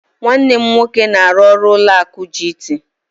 Nwanne m nwoke na-aru ọrụ ụlọ akụ GT.